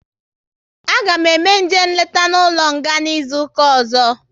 A ga eme eje nleta n'ụlọ nga n'izuka ọzọ